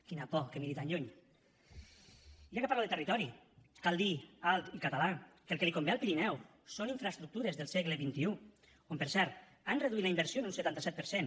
quina por que miri tan lluny i ja que parlo de territori cal dir alt i català que el que li convé al pirineu són infraestructures del segle xxi on per cert han reduït la inversió en un setanta set per cent